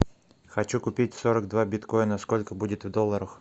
хочу купить сорок два биткоина сколько будет в долларах